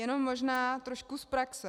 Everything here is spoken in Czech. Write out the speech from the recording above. Jenom možná trošku z praxe.